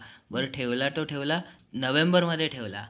पण ठेवला तो ठेवला नोव्हेंबर मध्ये ठेवला.